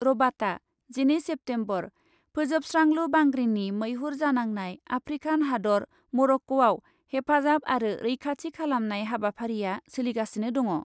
रबाता , जिनै सेप्तेम्बर, फोजोबस्रांलु बांग्रिनि मैहुर जानांनाय आफ्रिकान हादर मरक्क'आव हेफाजाब आरो रैखाथि खालामनाय हाबाफारिआ सोलिगासिनो दङ ।